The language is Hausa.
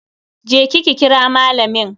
Je ki ki kira malamin.